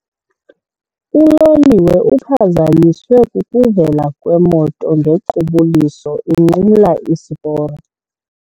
Uloliwe uphazanyiswe kukuvela kwemoto ngequbuliso inqumla isiporo.